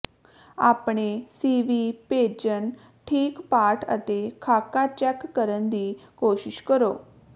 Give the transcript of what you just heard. ਆਪਣੇ ਸੀਵੀ ਭੇਜਣ ਠੀਕ ਪਾਠ ਅਤੇ ਖਾਕਾ ਚੈੱਕ ਕਰਨ ਦੀ ਕੋਸ਼ਿਸ਼ ਕਰੋ